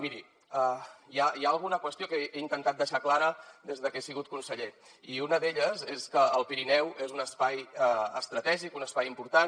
miri hi ha alguna qüestió que he intentat deixar clara des de que he sigut conseller i una d’elles és que el pirineu és un espai estratègic un espai important